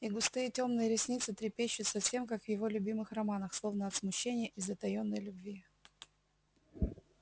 и густые тёмные ресницы трепещут совсем как в его любимых романах словно от смущения и затаённой любви